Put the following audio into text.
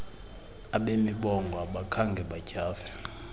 abemibongo abakhange batyhafe